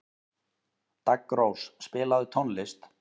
Daggrós, spilaðu tónlist.